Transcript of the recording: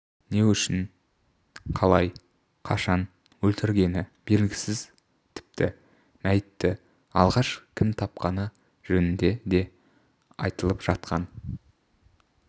не үшін қалай қашан өлтіргені белгісіз тіпті мәйітті алғаш кім тапқаны жөнінде де айтылып жатқан